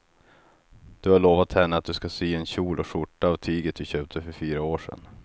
Du har lovat henne att du ska sy en kjol och skjorta av tyget du köpte för fyra år sedan.